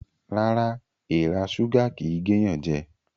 Rárá, èrà súgà kìí géyànjẹ